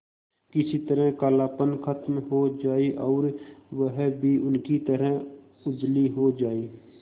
किसी तरह कालापन खत्म हो जाए और वह भी उनकी तरह उजली हो जाय